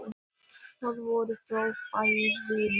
Það voru fráfærurnar.